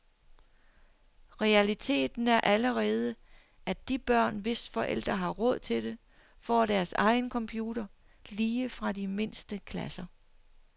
Realiteten er allerede, at de børn, hvis forældre har råd til det, får deres egen computer, lige fra de mindste klasser.